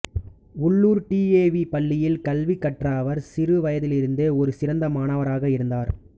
உள்ளூர் D A V பள்ளியில் கல்வி கற்ற அவர் சிறு வயதிலிருந்தே ஒரு சிறந்த மாணவராக இருந்தார்